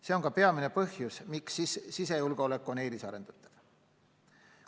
See on ka peamine põhjus, miks sisejulgeolek on eelisarendatav.